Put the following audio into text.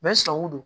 don